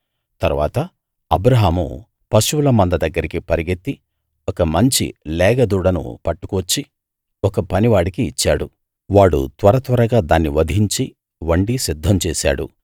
తరువాత అబ్రాహాము పశువుల మంద దగ్గరికి పరుగెత్తి ఒక మంచి లేగ దూడను పట్టుకు వచ్చి ఒక పనివాడికి ఇచ్చాడు వాడు త్వరత్వరగా దాన్నివధించి వండి సిద్ధం చేశాడు